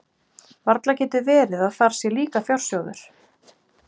Varla getur verið að þar sé líka fjársjóður?